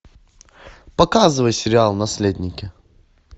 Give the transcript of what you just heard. показывай сериал наследники